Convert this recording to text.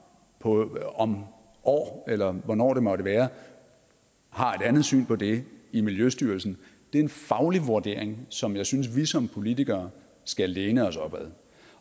om et år eller hvornår det måtte være har et andet syn på det i miljøstyrelsen er en faglig vurdering som jeg synes vi som politikere skal læne os op ad